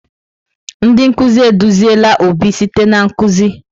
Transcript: Ndị nkuzi eduziela Obi site na nkuzi.